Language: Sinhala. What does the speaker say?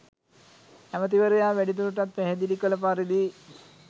ඇමැතිවරයා වැඩිදුරටත් පැහැදිලි කළ පරිදි